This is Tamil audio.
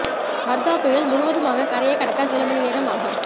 வர்தா புயல் முழுவதுமாக கரையைக் கடக்க சில மணி நேரம் ஆகும்